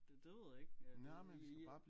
Det det ved jeg ikke ja det i